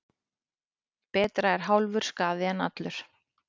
Betra er hálfur skaði en allur.